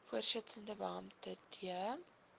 voorsittende beampte d